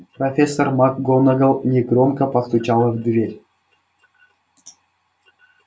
профессор макгонагалл негромко постучала в дверь